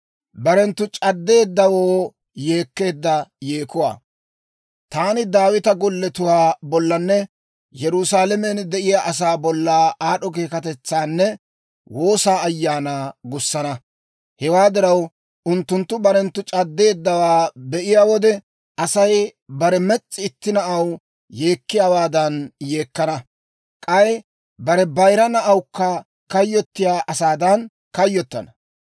«Taani Daawita golletuwaa bollanne Yerusaalamen de'iyaa asaa bolla aad'd'o keekatetsaanne woosaa ayaanaa gussana; hewaa diraw, unttunttu barenttu c'addeeddawaa be'iyaa wode, Asay bare mes's'i itti na'aw yeekkiyaawaadan yeekkana; k'ay bare bayira na'awukka kayyottiyaa asaadan kayyottana.